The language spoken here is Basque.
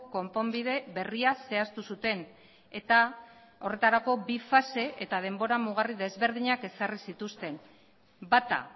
konponbide berria zehaztu zuten eta horretarako bi fase eta denbora mugarri desberdinak ezarri zituzten bata